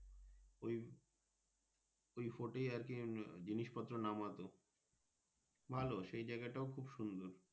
ওই fort এ আর কি জিনিস পত্র নামাতো ভালো সেই জায়গাটাও খুব সুন্দর।